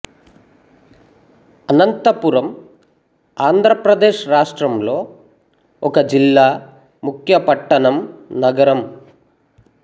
అనంతపురం ఆంధ్ర ప్రదేశ్ రాష్ట్రంలో ఒక జిల్లా ముఖ్య పట్టణం నగరం